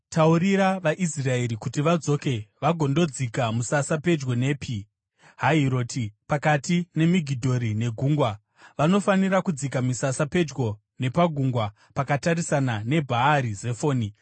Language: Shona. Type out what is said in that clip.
“Taurira vaIsraeri kuti vadzoke vagondodzika musasa pedyo nePi Hahiroti, pakati peMigidhori negungwa. Vanofanira kudzika misasa pedyo nepagungwa, pakatarisana neBhaari Zefoni.